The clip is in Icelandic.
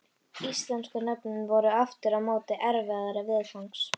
Íslensku nöfnin voru aftur á móti erfiðari viðfangs.